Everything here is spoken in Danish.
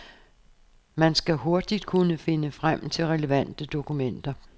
Man skal hurtigt kunne finde frem til relevante dokumenter.